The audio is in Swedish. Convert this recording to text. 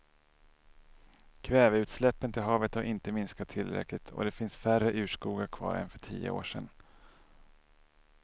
Kväveutsläppen till havet har inte minskat tillräckligt och det finns färre urskogar kvar än för tio år sedan.